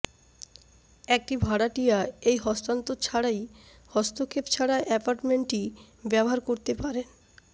একটি ভাড়াটিয়া এই হস্তান্তর ছাড়াই হস্তক্ষেপ ছাড়া এপার্টমেন্টটি ব্যবহার করতে পারে